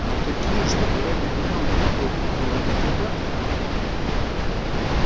но такие чтобы ради меня убить толпу молодых ребят